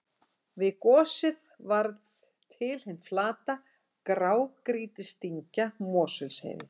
Við gosið varð til hin flata grágrýtisdyngja Mosfellsheiði.